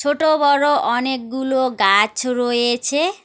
ছোট বড় অনেকগুলো গাছ রয়েছে।